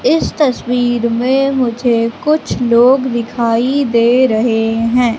इस तस्वीर मे मुझे कुछ लोग दिखाई दे रहे है।